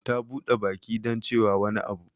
Ta bude baki don cewa wani abu.